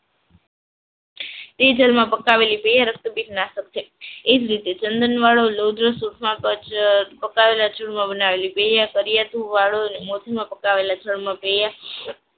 એ જળમાં પકાવેલી રક્તપીત નાશક છે. એ જ રીતે ચંદનમાં